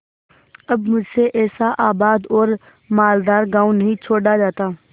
अब मुझसे ऐसा आबाद और मालदार गॉँव नहीं छोड़ा जाता